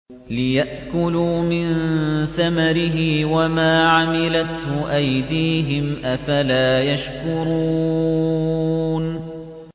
لِيَأْكُلُوا مِن ثَمَرِهِ وَمَا عَمِلَتْهُ أَيْدِيهِمْ ۖ أَفَلَا يَشْكُرُونَ